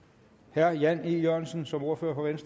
herre jan e jørgensen som ordfører